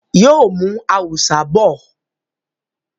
Yóò mú “ awùsá ” bọ̀.